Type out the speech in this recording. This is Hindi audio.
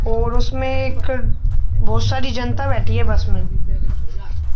और उसमें एक बहोत सारी जनता बैठी है बस में।